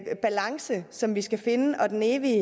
balance som vi skal finde og den evige